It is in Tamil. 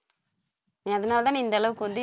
நீ அதனாலதான் நீ இந்த அளவுக்கு வந்து